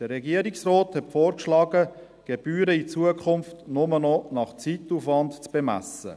Der Regierungsrat hat vorgeschlagen, die Gebühren in Zukunft nur noch nach Zeitaufwand zu bemessen.